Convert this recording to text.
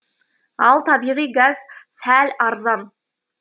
ал табиғи газ сәл арзан